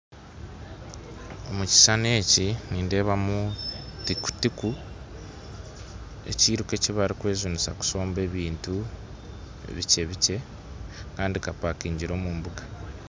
Omu kishushani eki nindeebamu tiku-tiku, ekiruka ekibarikwejunisa kushomba ebintu bikyebikye. Kandi kapaakingire omu mbuga.